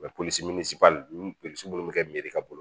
polisi min polisi minnu bɛ kɛ mere ka bolo